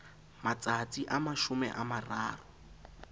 matsatsi a mashome a mararo